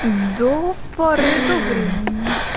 до поры до времени